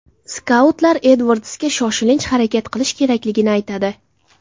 Skautlar Edvardsga shoshilinch harakat qilish kerakligini aytadi.